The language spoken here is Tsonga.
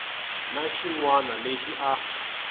na xin wana lexi a